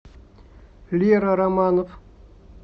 лера романов